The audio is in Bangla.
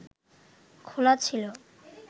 খোলা ছিল